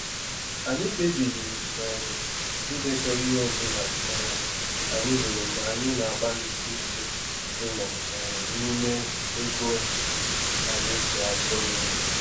Anyị kpebiri um ịdekọ ihe ọ bụla um anyị zụrụ mgbe anyị na-agbalịsi ike ịnọ um n’ime ego anyị ji azụ nri.